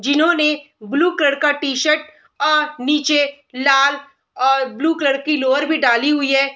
जिन्होंने blue colour की T shirt अ नीचे लाल और ब्लू कलर की लॉयर भी डाली हुई है।